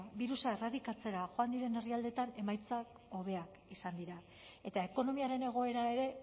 birusa erradikatzera joan diren herrialdeetan emaitzak hobeak izan dira eta ekonomiaren egoera ere